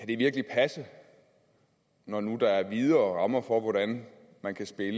det virkelig kan passe når nu der er videre rammer for hvordan man kan spille